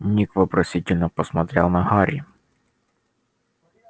ник вопросительно посмотрел на гарри